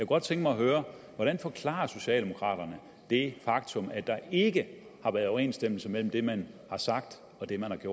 godt tænke mig at høre hvordan forklarer socialdemokraterne det faktum at der ikke har været overensstemmelse mellem det man har sagt og det man